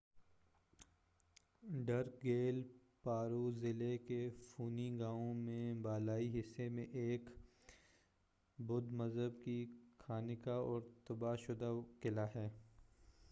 ڈرک گیل پارو ضلعے کے فونی گاؤں میں بالائی حصے میں ایک بدھ مذہب کی خانقاہ اور تباہ شدہ قلعہ ہے۔